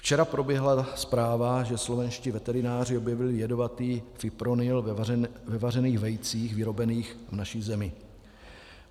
Včera proběhla zpráva, že slovenští veterináři objevili jedovatý fipronil ve vařených vejcích vyrobených v naší zemi.